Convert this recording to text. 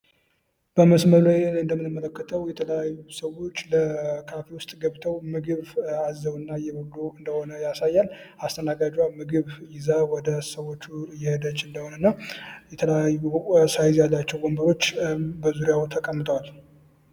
በመስሉ እንደምንመለከተው የተለያዩ ሰዎች ለካፌ ውስጥ ገብተው ምግብ አዘው እና እየበሉ እንደሆነ ያሳያል አስተናጋጇ ምግብ ይዛ ወደ ሰዎቹ እሄደች እንደሆ እና የተለያዩ ሳይዝ ያላቸው ወንበሮች በዙሪያው ተቀምጠዋል።